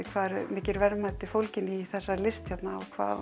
hvað eru mikil verðmæti fólgin í þessari list hérna og hvað